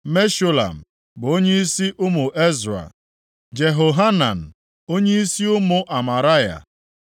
Meshulam bụ onyeisi ụmụ Ezra, Jehohanan, onyeisi ụmụ Amaraya;